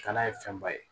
Kana ye fɛnba ye